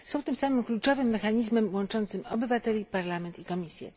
Są tym samym kluczowym mechanizmem łączącym obywateli, Parlament i Komisję.